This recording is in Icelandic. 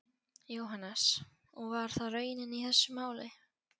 Jóhannes: Og var það raunin í þessu máli?